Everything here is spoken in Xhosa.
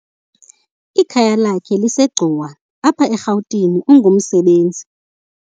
Ikhaya lakhe liseGcuwa, apha eRGauteng ungumsebenzi.